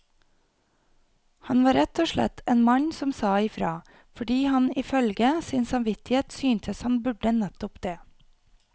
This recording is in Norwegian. Han var rett og slett en mann som sa ifra, fordi han ifølge sin samvittighet syntes han burde nettopp det.